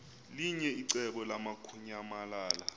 linye icebo lamukunyamalala